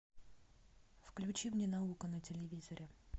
включи мне наука на телевизоре